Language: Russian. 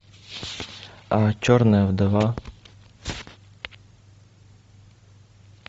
черная вдова